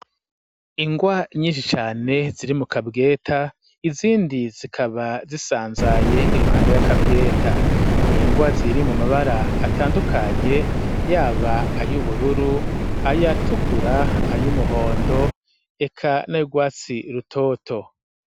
Ingwa nyishicane ziri mu kabweta izindi zikaba zisanzaye iruhande y'akabweta ni ingwa ziri mu mabara atandukanye yaba ayo ubururu ayatukura ayo umuhondo eka narwatsi rutoto.